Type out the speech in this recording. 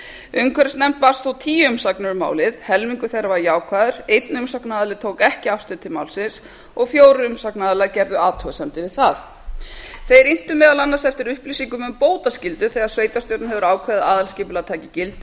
umhverfisnefnd bárust þó tíu umsagnir um málið helmingur þeirra var jákvæður einn umsagnaraðili tók ekki afstöðu til málsins og fjórir umsagnaraðilar gerðu athugasemdir við það umsagnaraðilar inntu meðal annars eftir upplýsingum um bótaskyldu þegar sveitarstjórn hefur ákveðið að aðalskipulag taki gildi